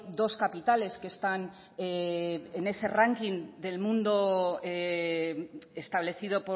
dos capitales que están en ese ranking del mundo establecido